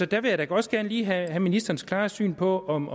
der vil jeg da også gerne lige have ministerens klare syn på om